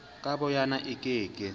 ka boyona e ke ke